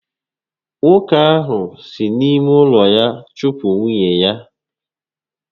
Nwoke ahụ si n'ime ụlọ ya chụpụ nwunye ya